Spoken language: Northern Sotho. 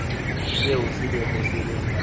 seo se bego se le